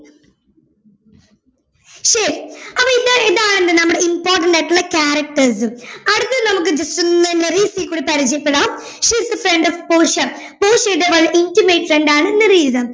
ശരി അപ്പൊ ഇത് ഇതാണ് നമ്മുടെ important ആയിട്ടുള്ള characters അടുത്ത നമ്മക്ക് just ഒന്ന് മെറീസയെ കൂടി പരിചയപ്പെടാം she is a friend of Portia പോർഷ്യയുടെ വളരെ intimate friend ആണ് മെറീസാ